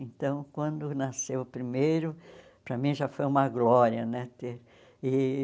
Então, quando nasceu o primeiro, para mim já foi uma glória, né ter e